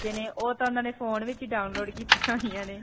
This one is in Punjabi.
ਬੱਚੇ ਨੇ ਓਹ ਤਾਂ ਉਨ੍ਹਾਂ ਨੇ ਫੋਨ ਵਿੱਚ ਹੀ download ਕੀਤੀਆਂ ਹੋਈਆਂ ਨੇ.